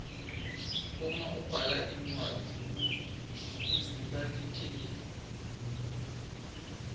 uma ubhala incwadzi kumbhula likheli